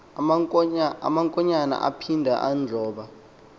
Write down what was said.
amankonyana aphinda adloba